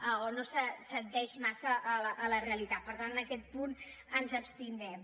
o no s’adiu massa amb la realitat per tant en aquest punt ens abstindrem